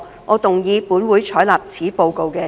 我動議"本會採納此報告"的議案。